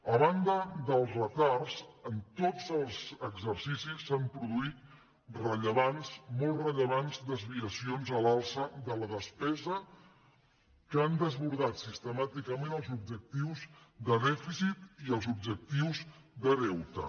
a banda dels retards en tots els exercicis s’han pro·duït rellevants molt rellevants desviacions a l’alça de la despesa que han desbordat sistemàticament els ob·jectius de dèficit i els objectius de deute